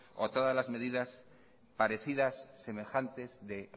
a todas las medidas parecidas semejantes de